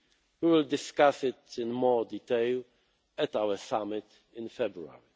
We will discuss it in more detail at our summit in February.